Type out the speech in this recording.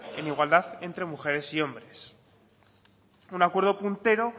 en igualdad entre mujeres y hombres un acuerdo puntero